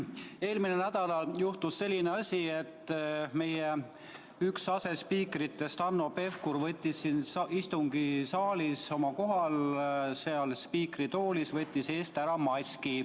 Eelmisel nädalal juhtus selline asi, et meie asespiiker Hanno Pevkur võttis siin istungisaalis oma kohal, seal spiikri toolis istudes maski eest ära.